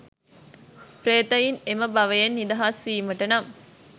ප්‍රේතයන් එම භවයෙන් නිදහස් වීමට නම්,